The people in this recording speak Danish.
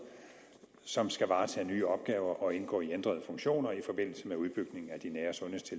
som skal varetage nye opgaver og indgå i ændrede funktioner i forbindelse med udbygningen af de nære